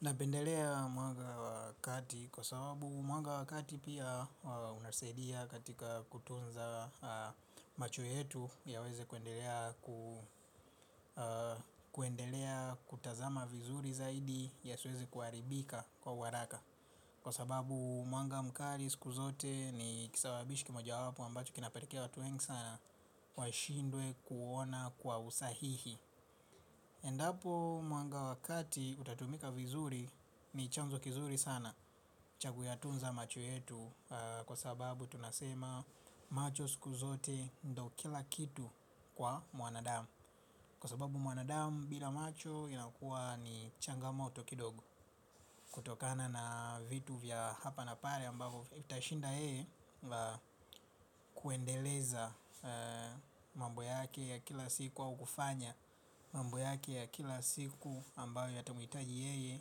Napendelea mwanga wakati kwa sababu mwanga wakati pia unasaidia katika kutunza macho yetu yaweze kuendelea kutazama vizuri zaidi yasiweze kuharibika kwa haraka. Kwa sababu mwanga mkali siku zote ni kisababishi kimojawapo ambacho kinapalekea watu wengi sana waishindwe kuona kwa usahihi. Endapo mwanga wakati utatumika vizuri ni chanzo kizuri sana cha kuyatunza macho yetu kwa sababu tunasema macho siku zote ndo kila kitu kwa mwanadamu. Kwa sababu mwanadamu bila macho inakuwa ni changamaoto kidogo. Kutokana na vitu vya hapa na pale ambapo itashinda yeye kuendeleza mambo yake ya kila siku au kufanya mambo yake ya kila siku ambayo yatamuitaji yeye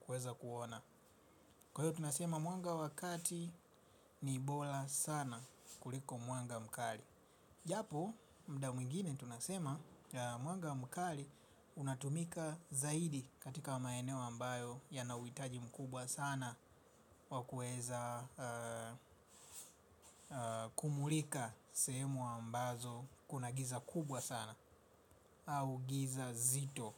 kuweza kuona. Kwa hiyo tunasema mwanga wakati ni bola sana kuliko mwanga mkali. Japo mda mwingine tunasema ya mwanga mkali unatumika zaidi katika maeneo ambayo yanauitaji mkubwa sana wakueza kumulika sehemu ambazo kuna giza kubwa sana au giza zito.